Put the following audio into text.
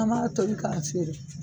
An b'a toli k'a feere